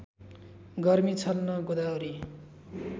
गर्मी छल्न गोदावरी